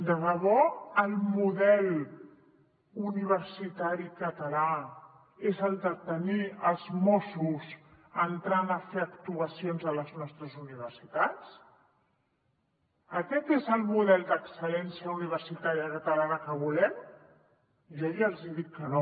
de debò el model universitari català és el de tenir els mossos entrant a fer actuacions a les nostres universitats aquest és el model d’excel·lència universitària catalana que volem jo ja els hi dic que no